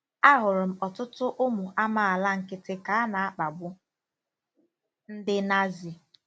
Ahụrụ m ọtụtụ ụmụ amaala nkịtị ka a na-akpagbu ndị Nazi.